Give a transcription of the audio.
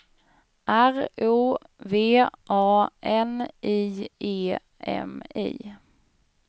R O V A N I E M I